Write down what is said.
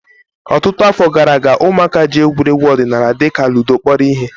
Ọtụtụ afọ gara aga, ụmụaka ji egwuregwu ọdịnala dịka ludo kpọrọ ihe